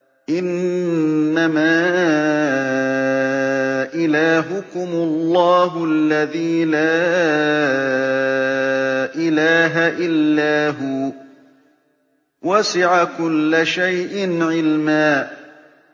إِنَّمَا إِلَٰهُكُمُ اللَّهُ الَّذِي لَا إِلَٰهَ إِلَّا هُوَ ۚ وَسِعَ كُلَّ شَيْءٍ عِلْمًا